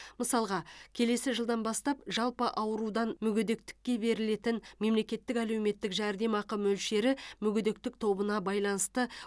мысалға келесі жылдан бастап жалпы аурудан мүгедектікке берілетін мемлекеттік әлеуметтік жәрдемақы мөлшері мүгедектік тобына байланысты